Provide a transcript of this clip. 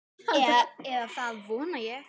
Eða það vona ég